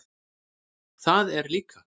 Það er líka.